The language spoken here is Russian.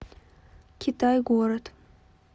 китай город